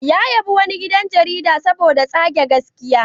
Ya yabi wani gidan jarida saboda tsage gaskiya.